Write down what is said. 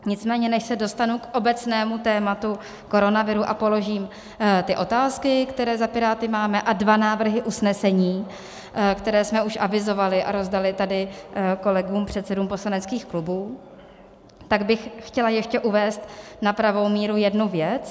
Nicméně než se dostanu k obecnému tématu koronaviru a položím ty otázky, které za Piráty máme, a dva návrhy usnesení, které jsme už avizovali a rozdali tady kolegům, předsedům poslaneckých klubů, tak bych chtěla ještě uvést na pravou míru jednu věc.